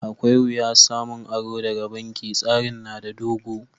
Akwai wiyya samun aro daga banki. Tsarin na da dogo.